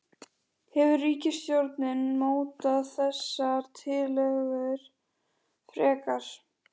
Hefur ríkisstjórnin mótað þessar tillögur frekar?